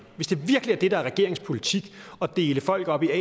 virkelig er regeringens politik at dele folk op i a og